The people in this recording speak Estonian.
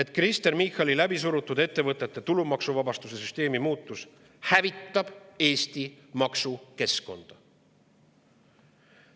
et Kristen Michali läbisurutud ettevõtete tulumaksuvabastuse süsteemi muutus hävitab Eesti maksukeskkonda.